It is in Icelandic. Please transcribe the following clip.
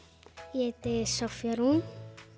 ég heiti Soffía Rún